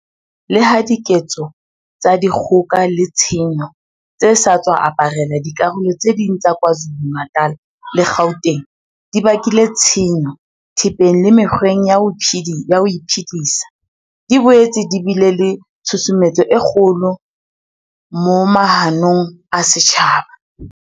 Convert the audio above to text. Leha diketso tsa di kgoka le tshenyo tse sa tswa aparela dikarolo tse ding tsa Kwa Zulu-Natal le Gauteng di bakile tshenyo thepeng le mekgweng ya ho iphedisa, di boetse di bile le tshu sumetso e kgolo moma hanong ya setjhaba.